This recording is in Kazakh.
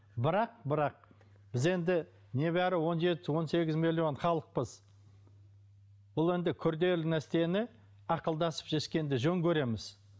бірақ бірақ біз енді небәрі он жеті он сегіз миллион халықпыз бұл енді күрделі нәрсені ақылдасып шешкенді жөн көреміз